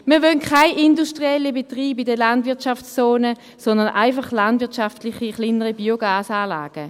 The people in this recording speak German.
Wir wollen keine industriellen Betriebe in der Landwirtschaftszone, sondern einfach landwirtschaftliche, kleinere Biogasanlagen.